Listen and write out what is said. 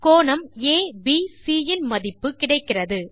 கோணம் ஏபிசி இன் மதிப்பு கிடைக்கிறது